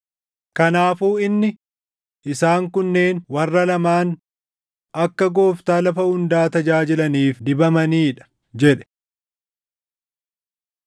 Kanaafuu inni, “Isaan kunneen warra lamaan akka Gooftaa lafa hundaa tajaajilaniif dibamanii dha” jedhe.